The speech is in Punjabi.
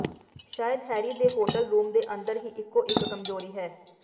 ਸ਼ਾਇਦ ਹੈਰੀ ਦੇ ਹੋਟਲ ਰੂਮ ਦੇ ਅੰਦਰ ਹੀ ਇਕੋ ਇਕ ਕਮਜ਼ੋਰੀ ਹੈ